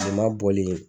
Kilema bɔlen